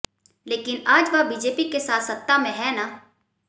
लेकिन आज वह बीजेपी के साथ सत्ता में हैं ना